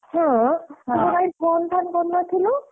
ହଁ ତୁ ତ କାଇଁ phone ଫାନ କରିନଥିଲୁ?